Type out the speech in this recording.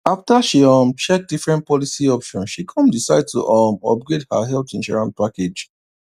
after she um check different policy options she come decide to um upgrade her health insurance package